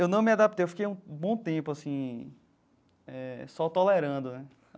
Eu não me adaptei, eu fiquei um bom tempo assim eh só tolerando né.